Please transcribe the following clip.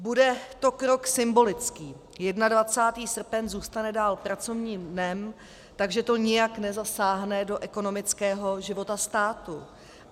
Bude to krok symbolický, 21. srpen zůstane dál pracovním dnem, takže to nijak nezasáhne do ekonomického života státu.